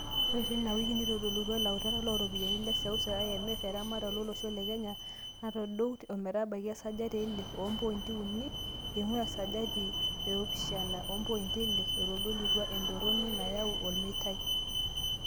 Ore tena wiki, neitodolutua ilautaka looropiani le seuse (IMF) eramatare olosho le Kenya natoduo ometabaiki esajati eile ompointi unii inguaa esajati eopishana opointi ile, eitodoluo etoroni nayaua olmeitai.